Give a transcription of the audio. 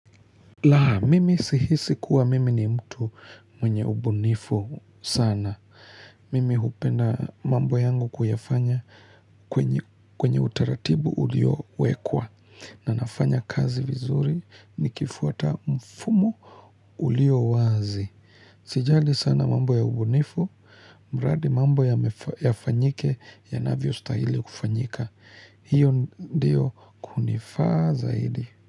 La, mimi sihisi kuwa mimi ni mtu mwenye ubunifu sana. Mimi hupenda mambo yangu kuyafanya kwenye utaratibu ulio wekwa. Na nafanya kazi vizuri nikifuata mfumo ulio wazi. Sijali sana mambo ya ubunifu, mradi mambo yafanyike yanavyostahili kufanyika. Hiyo ndiyo kunifaa zaidi.